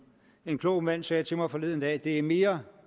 en klog mand sagde til mig forleden dag det er mere